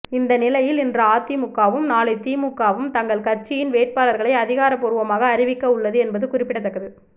இந்த நிலையில் இன்று அதிமுகவும் நாளை திமுகவும் தங்கள் கட்சியின் வேட்பாளர்களை அதிகாரபூர்வமாக அறிவிக்க உள்ளது என்பது குறிப்பிடத்தக்கது